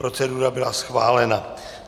Procedura byla schválena.